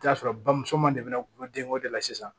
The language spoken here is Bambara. I bi t'a sɔrɔ bamuso ma ne bɛ na gulodenko de la sisan